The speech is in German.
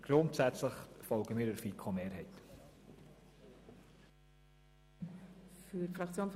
Grundsätzlich folgen wir der FiKo-Mehrheit.